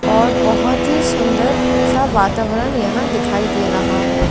और बहोत ही सुन्दर सा वतावरण यहा दिखाई दे रहा है।